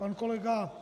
Pan kolega